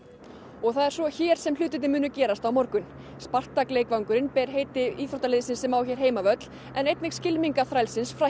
og það er svo hér sem hlutirnir munu gerast á morgun Spartak leikvangurinn ber heiti liðsins sem á sér hér heimavöll en einnig skylmingaþrælsins